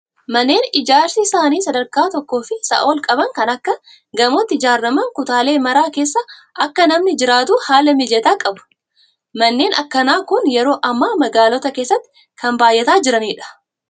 Manneen ijaarsi isaanii sadarkaa tokkoo fi isaa ol qaban kan akka gamootti ijaaraman kutaalee maraa keessa akka namni jiraatu haala mijataa qabu. Manneen akkanaa kun yeroo ammaa magaalota keessatti kan baay'ataa jiranidha.